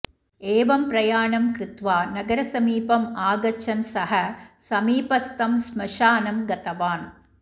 एवं प्रयाणं कृत्वा नगरसमीपम् आगच्छन् सः समीपस्थं श्मशानं गतवान्